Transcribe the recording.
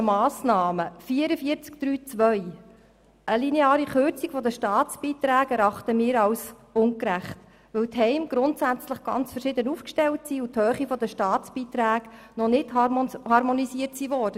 Wir erachten eine lineare Kürzung der Staatsbeiträge als ungerecht, weil die Heime grundsätzlich ganz verschieden aufgestellt sind und die Höhe der Staatsbeiträge durch die Subjektfinanzierung noch nicht harmonisiert wurde.